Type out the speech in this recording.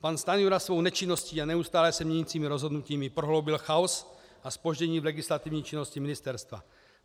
Pan Stanjura svou nečinností a neustále se měnícími rozhodnutími prohloubil chaos a zpoždění v legislativní činnosti ministerstva.